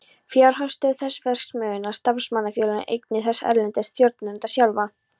Fjárhagsstöðu þess, verksmiðjurnar, starfsmannafélögin, eignir þess erlendis, stjórnendurna sjálfa.